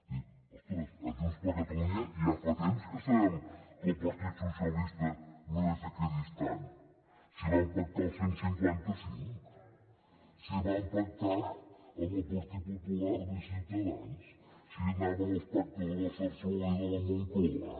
dic ostres a junts per catalunya ja fa temps que sabem que el partit dels socialistes no és equidistant si van pactar el cent i cinquanta cinc si van pactar amb el partit popular i ciutadans si anaven als pactes de la zarzuela i de la moncloa